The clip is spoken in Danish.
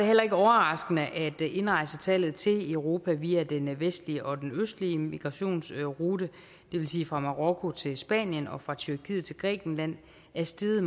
heller ikke overraskende at indrejsetallet til europa via den vestlige og den østlige migrationsrute det vil sige fra marokko til spanien og fra tyrkiet til grækenland er steget